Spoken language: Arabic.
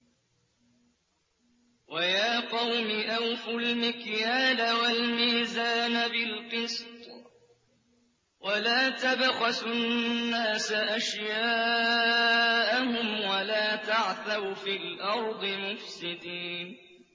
وَيَا قَوْمِ أَوْفُوا الْمِكْيَالَ وَالْمِيزَانَ بِالْقِسْطِ ۖ وَلَا تَبْخَسُوا النَّاسَ أَشْيَاءَهُمْ وَلَا تَعْثَوْا فِي الْأَرْضِ مُفْسِدِينَ